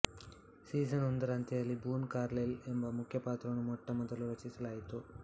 season ಒಂದರ ಅಂತ್ಯದಲ್ಲಿ Boone Carlyle ಎಂಬ ಮುಖ್ಯ ಪಾತ್ರವನ್ನು ಮೊಟ್ಟ ಮೊದಲು ರಚಿಸಲಾಯಿತು